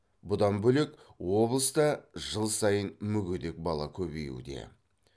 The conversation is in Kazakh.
бұдан бөлек облыста жыл сайын мүгедек бала көбеюде